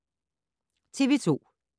TV 2